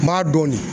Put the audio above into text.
N b'a dɔn de